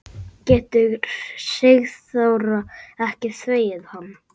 Getur Sigþóra ekki þvegið hann?